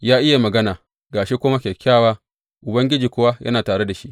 Ya iya magana, ga shi kuma kyakkyawa, Ubangiji kuwa yana tare da shi.